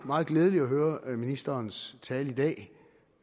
meget glædeligt at høre ministerens tale i dag